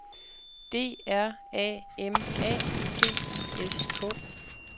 D R A M A T I S K